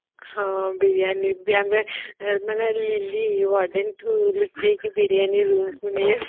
ହଁ ବିରିଆନୀ ଯୋଉ ଆମେ ମାନେ